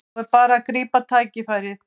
Nú er bara að grípa tækifærið